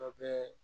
Dɔ bɛ